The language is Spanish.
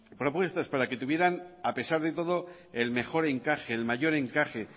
propuestas para que tuvieran a pesar de todo el mejor encaje el mayor encaje